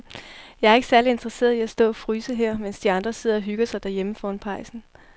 Jeg er ikke særlig interesseret i at stå og fryse her, mens de andre sidder og hygger sig derhjemme foran pejsen.